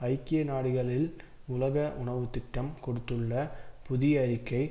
ஐக்கிய நாடுகளில் உலக உணவு திட்டம் கொடுத்துள்ள புதிய அறிக்கை